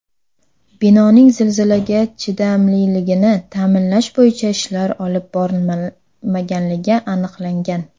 Binoning zilzilaga chidamliligini ta’minlash bo‘yicha ishlar olib borilmaganligi aniqlangan.